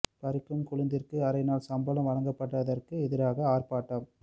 பறிக்கும் கொழுந்திற்கு அரை நாள் சம்பளம் வழங்கப்பட்டதற்கு எதிராக ஆர்ப்பாட்டம்